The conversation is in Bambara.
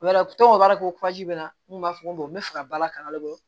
O b'a to o b'a yira ko bɛ n kun b'a fɔ n bɔn n bɛ fɛ ka bala kangare